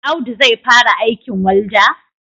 Audu zai fara aikin walda?